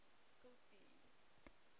kultuur